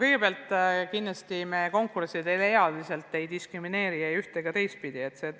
Kõigepealt, kindlasti me konkursside korraldamisel ealiselt ei diskrimineeri ei üht- ega teistpidi.